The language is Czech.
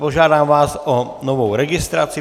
Požádám vás o novou registraci.